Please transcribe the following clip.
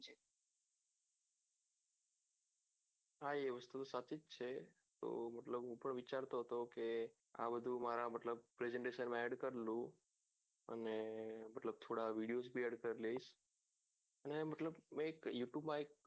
હા એ topic છે તો મતલબ હું પણ વિચારતો હતો કે આ બધું મારા મતલબ કે મેં કરેલું અને થોડા video add કરીને મેં મતલબ you tube માં એક